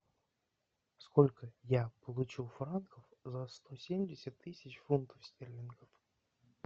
сколько я получу франков за сто семьдесят тысяч фунтов стерлингов